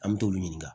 An me t'olu ɲininka